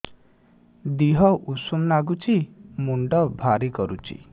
ଦିହ ଉଷୁମ ନାଗୁଚି ମୁଣ୍ଡ ଭାରି କରୁଚି